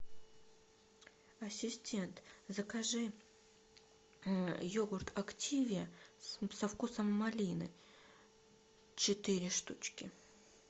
ассистент закажи йогурт активиа со вкусом малины четыре штучки